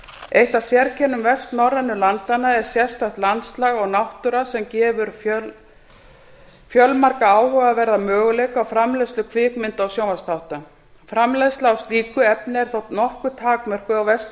eitt af sérkennum vestnorrænu landanna er sérstakt landslag og náttúra sem gefur fjölmarga áhugaverða möguleika á framleiðslu kvikmynda og sjónvarpsþátta framleiðsla á slíku efni er þó nokkuð takmörkuð á vestur